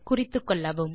குறித்துக்கொள்ளவும்